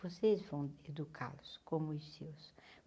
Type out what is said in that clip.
Vocês vão educá-los, como os seus.